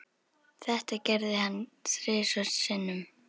Þetta gerði hann þrisvar sinnum.